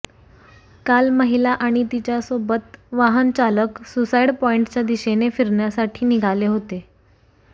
काल महिला आणि तिच्यासोबत वाहन चालक सुसाइड पॉइंटच्या दिशेने फिरण्यासाठी निघाले होते